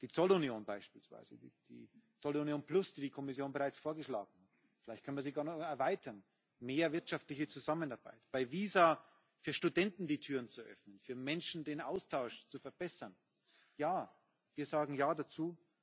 Die Zollunion beispielsweise, die Zollunion plus, die die Kommission bereits vorgeschlagen hat vielleicht können wir sie auch noch erweitern mehr wirtschaftliche Zusammenarbeit, bei Visa für Studenten die Türen zu öffnen, für Menschen den Austausch zu verbessern ja, wir sagen Ja dazu.